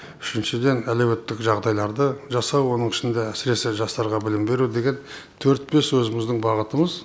үшіншіден әлеуметтік жағдайларды жасау оның ішінде әсіресе жастарға білім беру деген төрт бес өзіміздің бағытымыз